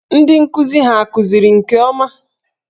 Ndị nkụzi hà kụziri nke ọma?